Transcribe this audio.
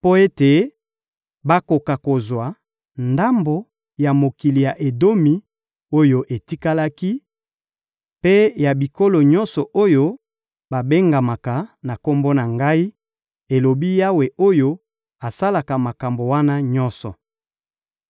mpo ete bakoka kozwa ndambo ya mokili ya Edomi oyo etikalaki, mpe ya bikolo nyonso oyo babengamaka na Kombo na Ngai,» elobi Yawe oyo asalaka makambo wana nyonso.